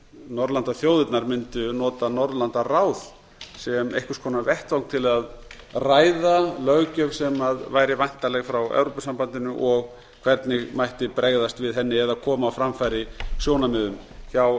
norðurlandaþjóðirnar mundu nota ráð sem einhvers konar vettvang til að ræða löggjöf sem væri væntanleg frá evrópusambandinu og hvernig mætti bregðast við henni eða koma á framfæri sjónarmiðum hjá